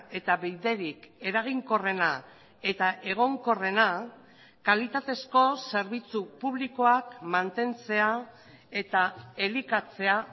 eta biderik eraginkorrena eta egonkorrena kalitatezko zerbitzu publikoak mantentzea eta elikatzea